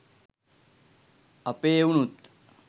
අපේ එවුනුත්